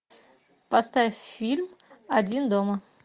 поставь фильм один дома